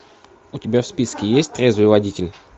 у тебя в списке есть трезвый водитель